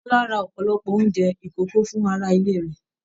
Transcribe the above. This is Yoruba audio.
Bọla rà ọpọlọpọ oúnjẹ ikòkò fún ará ilé rẹ.